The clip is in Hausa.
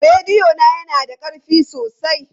Rediyo na yana da ƙarfi sosai.